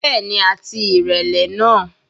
Bẹ́ẹ̀ni, àti ìrẹlẹ náà.